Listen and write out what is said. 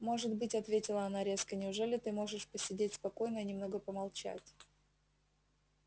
может быть ответила она резко неужели ты можешь посидеть спокойно и немного помолчать